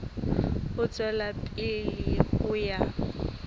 ho tswela pele ho ya